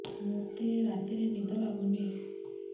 ମୋତେ ରାତିରେ ନିଦ ଲାଗୁନି